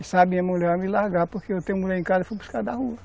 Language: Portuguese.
E sabe, a minha mulher vai me largar porque eu tenho mulher em casa e fui buscar da rua.